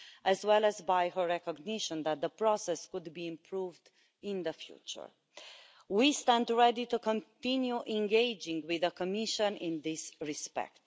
as well as by her recognition that the process could be improved in the future. We stand ready to continue engaging with the Commission in this respect.